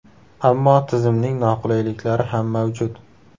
Ammo tizimning noqulayliklari ham mavjud.